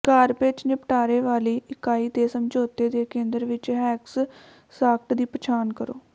garbage ਨਿਪਟਾਰੇ ਵਾਲੀ ਇਕਾਈ ਦੇ ਸਮਝੌਤੇ ਦੇ ਕੇਂਦਰ ਵਿਚ ਹੈਕਸ ਸਾਕਟ ਦੀ ਪਛਾਣ ਕਰੋ